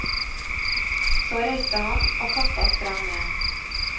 Så reiste han, og katta sprang med.